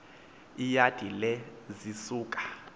iyadi le zisuka